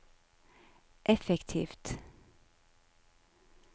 effektivt